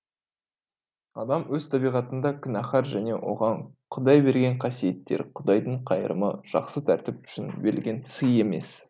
адам өз табиғатында күнәһар және оған құдай берген қасиеттер құдайдың қайырымы жақсы тәртіп үшін берілген сый емес